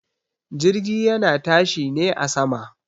Jirgi yana tashi ne a sama.